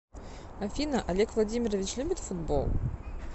афина олег владимирович любит футбол